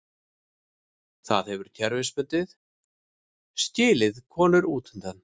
Það hefur kerfisbundið skilið konur útundan.